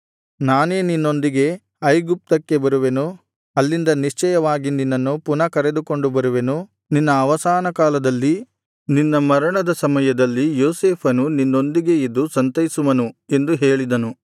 ನಾನೇ ನಿನ್ನೊಂದಿಗೆ ಐಗುಪ್ತಕ್ಕೆ ಬರುವೆನು ಅಲ್ಲಿಂದ ನಿಶ್ಚಯವಾಗಿ ನಿನ್ನನ್ನು ಪುನಃ ಕರೆದುಕೊಂಡು ಬರುವೆನು ನಿನ್ನ ಅವಸಾನಕಾಲದಲ್ಲಿ ನಿನ್ನ ಮರಣದ ಸಮಯದಲ್ಲಿ ಯೋಸೇಫನು ನಿನ್ನೊಂದಿಗೆ ಇದ್ದು ಸಂತೈಸುವನು ಎಂದು ಹೇಳಿದನು